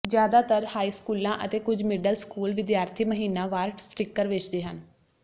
ਜ਼ਿਆਦਾਤਰ ਹਾਈ ਸਕੂਲਾਂ ਅਤੇ ਕੁਝ ਮਿਡਲ ਸਕੂਲ ਵਿਦਿਆਰਥੀ ਮਹੀਨਾਵਾਰ ਸਟਿੱਕਰ ਵੇਚਦੇ ਹਨ